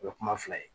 O ye kuma fila ye